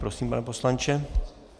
Prosím, pane poslanče.